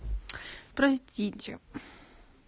простите